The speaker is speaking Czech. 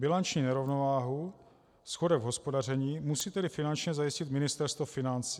Bilanční nerovnováhu, schodek v hospodaření musí tedy finančně zajistit Ministerstvo financí.